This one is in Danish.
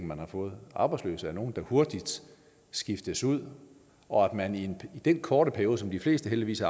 man har fået arbejdsløse er nogle der hurtigt skiftes ud og om man i den korte periode som de fleste heldigvis